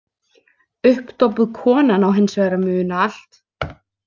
Uppdópuð konan á hins vegar að muna allt.